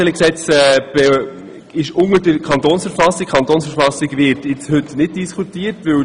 Dieses Gesetz untersteht der Kantonsverfassung, über welche heute nicht diskutiert wird.